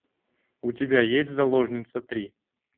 у тебя есть заложница три